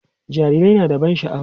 jarirai na da ban sha'awa